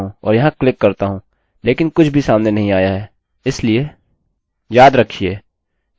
चलिए इसे रिफ्रेश करें